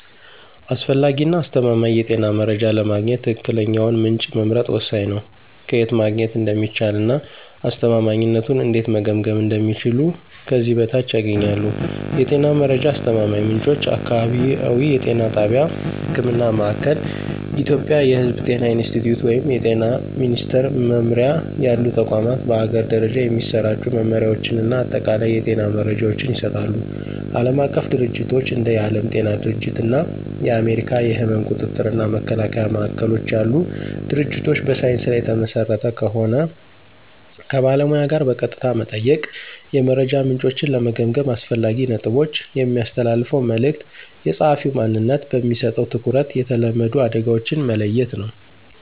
አስፈላጊ እና አስተማማኝ የጤና መረጃ ለማግኘት ትክክለኛውን ምንጭ መምረጥ ወሳኝ ነው። ከየት ማግኘት እንደሚቻል እና አስተማማኝነቱን እንዴት መገምገም እንደሚችሉ ከዚህ በታች ያገኛሉ። የጤና መረጃ አስተማማኝ ምንጮች · አካባቢያዊ የጤና ጣቢያ (ህክምና ማእከል። ኢትዮጵያ የሕዝብ ጤና ኢንስቲትዩት ወይም የጤና ሚኒስትር መምሪያ ያሉ ተቋማት በአገር ደረጃ የሚሰራጩ መመሪያዎችን እና አጠቃላይ የጤና መረጃዎችን ይሰጣሉ። ዓለም አቀፍ ድርጅቶች እንደ የዓለም ጤና ድርጅት እና የአሜሪካ የሕመም ቁጥጥር እና መከላከያ ማዕከሎች ያሉ ድርጅቶች በሳይንስ ላይ የተመሰረተ ከሆን። ከባለሙያ ጋር በቀጥታ መጠየቅ። የመረጃ ምንጮችን ለመገምገም አስፈላጊ ነጥቦች። የሚያስተላልፈው መልዕክት፣ የጸሐፊው ማንነት፣ በሚሰጠው ትኩረት፣ የተለመዱ አደጋዎችን መለየት ነው።